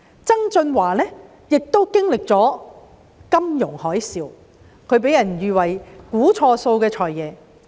曾俊華擔任財政司司長的時候經歷了金融海嘯，他被喻為"估錯數的財爺"。